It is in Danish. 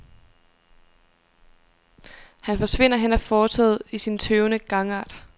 Han forsvinder hen ad fortovet i sin tøvende gangart.